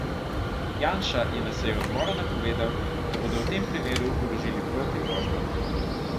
Janša je na seji odbora napovedal, da bodo v tem primeru vložili proti tožbe.